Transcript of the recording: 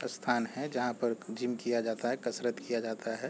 स्थान है जहाँ पर जिम किया जाता है कसरत किया जाता हैं ।